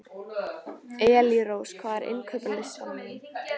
Elírós, hvað er á innkaupalistanum mínum?